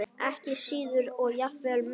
Ekki síður og jafnvel meira.